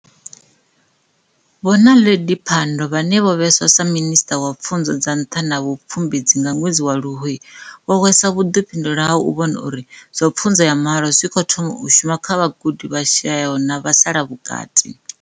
Vho Naledi Pandor vhane vho vhewa sa Minisṱa wa Pfunzo dza Nṱha na Vhu pfumbudzi nga ṅwedzi wa Luhuhi, vho hweswa vhuḓifhinduleli ha u vhona uri zwa pfunzo ya mahala zwi khou thoma u shuma kha vhagudi vha shayaho na vhasala vhukati.